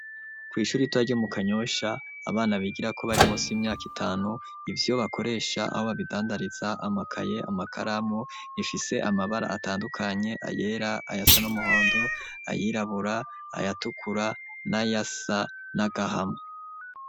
Kw'ishuri ritoya ryo mu Kanyosha , abana bigirako bari musi y'imyak'itanu, ivyo bakoresha, aho babidandariza, amakaye, amakaramu, rifise amabara atandukanye, ayera, ayasa n'umuhondo , ayirabura, ayatukura, nay'asa n'agahama.